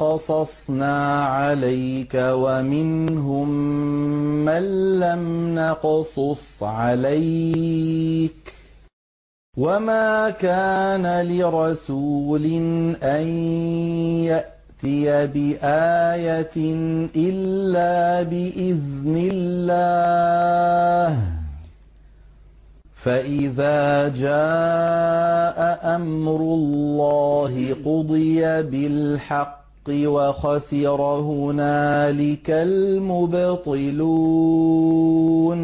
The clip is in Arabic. قَصَصْنَا عَلَيْكَ وَمِنْهُم مَّن لَّمْ نَقْصُصْ عَلَيْكَ ۗ وَمَا كَانَ لِرَسُولٍ أَن يَأْتِيَ بِآيَةٍ إِلَّا بِإِذْنِ اللَّهِ ۚ فَإِذَا جَاءَ أَمْرُ اللَّهِ قُضِيَ بِالْحَقِّ وَخَسِرَ هُنَالِكَ الْمُبْطِلُونَ